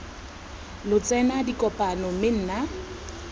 lo tsena dikopano mme nna